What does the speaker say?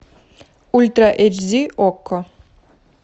ультра эйч ди окко